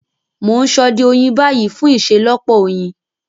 Mo n sode oyin ni bayi fun iṣelọpọ oyin.